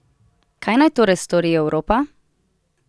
Kaj naj torej stori Evropa?